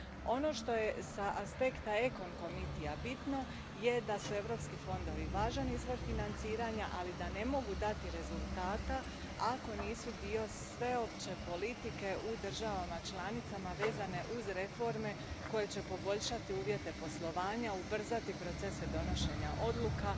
Ono što je bitno iz aspekta odbor ECON je da su europski fondovi važan izvor financiranja, ali da ne mogu dati rezultata ako nisu dio sveopće politike u državama članicama vezane uz reforme koje će poboljšati uvjete poslovanja, ubrzati procese donošenja odluka,